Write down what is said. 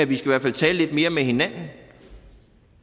vi skal tale lidt mere med hinanden